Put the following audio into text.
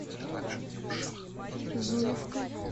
зуевкой